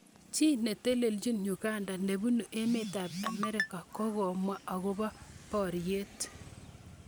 Chi netelechin Uganda nebunu emet ab America kokomwa akobo boriet.